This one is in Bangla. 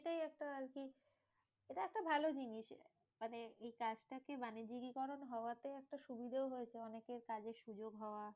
একটা আরকি এটা একটা ভালো জিনিস। মানে এই কাজটাকে বাণিজ্যিকীকরণ হওয়াতে একটা সুবিধেও হয়েছে, অনেকের কাজের সুযোগ হওয়া।